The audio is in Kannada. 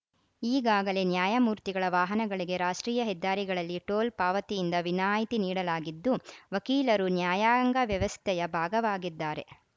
ಈಗಾಗಲೇ ನ್ಯಾಯಮೂರ್ತಿಗಳ ವಾಹನಗಳಿಗೆ ರಾಷ್ಟ್ರೀಯ ಹೆದ್ದಾರಿಗಳಲ್ಲಿ ಟೋಲ್‌ ಪಾವತಿಯಿಂದ ವಿನಾಯಿತಿ ನೀಡಲಾಗಿದ್ದು ವಕೀಲರು ನ್ಯಾಯಾಂಗ ವ್ಯವಸ್ಥೆಯ ಭಾಗವಾಗಿದ್ದಾರೆ